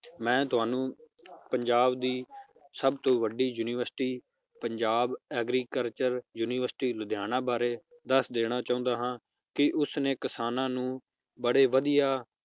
ਮੈ ਤੁਹਾਨੂੰ ਪੰਜਾਬ ਦੀ ਸਬ ਤੋਂ ਵੱਡੀ university Punjab agriculture university Ludhiana ਬਾਰੇ ਦੱਸ ਦੇਣਾ ਚਾਹੁਣਾ ਹਾਂ ਕਿ ਉਸ ਨੇ ਕਿਸਾਨਾਂ ਨੂੰ ਬੜੇ ਵਧੀਆ